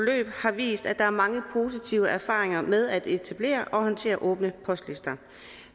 har vist at der er mange positive erfaringer med at etablere og håndtere åbne postlister